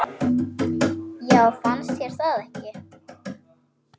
Já, fannst þér það ekki?